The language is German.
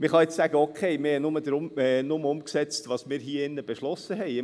Man kann nun sagen: Okay, wir haben nur umgesetzt, was wir hier im Grossen Rat beschlossen haben.